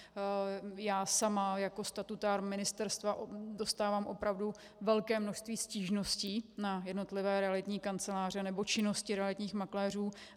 Já sama jako statutár ministerstva dostávám opravdu velké množství stížností na jednotlivé realitní kanceláře nebo činnosti realitních makléřů.